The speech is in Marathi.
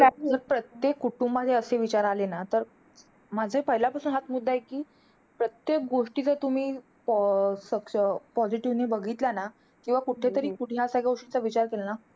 प्रत्येक कुटुंबामध्ये असे छान विचार आले ना, तर माझाही पहिल्यापासून हाच मुद्दा आहे. कि प्रत्येक गोष्टी जर तुम्ही प अं सक्ष positive ने बघितल्या ना, किंवा कुठेतरी कुठल्या अशा गोष्टीचा विचार केला ना.